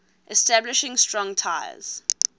establishing strong ties